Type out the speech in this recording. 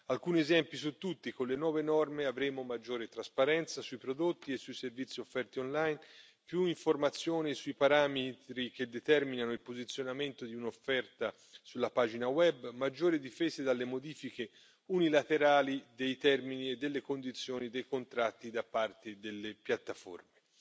Alcuni esempi su tutti con le nuove norme avremo maggiore trasparenza sui prodotti e sui servizi offerti online, più informazioni sui parametri che determinano il posizionamento di un'offerta sulla pagina web, maggiori difese dalle modifiche unilaterali dei termini e delle condizioni dei contratti da parte delle piattaforme.